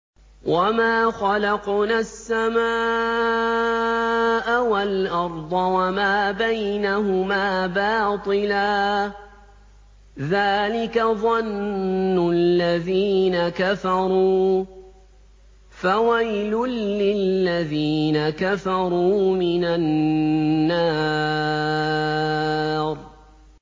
وَمَا خَلَقْنَا السَّمَاءَ وَالْأَرْضَ وَمَا بَيْنَهُمَا بَاطِلًا ۚ ذَٰلِكَ ظَنُّ الَّذِينَ كَفَرُوا ۚ فَوَيْلٌ لِّلَّذِينَ كَفَرُوا مِنَ النَّارِ